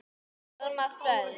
Alma Þöll.